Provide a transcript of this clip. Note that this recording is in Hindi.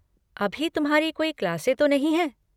अभी तुम्हारी कोई क्लासें तो नहीं हैं?